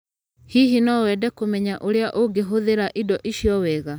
Hihi no wende kũmenya ũrĩa ũngĩhũthĩra indo icio wega?